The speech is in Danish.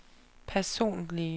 personlige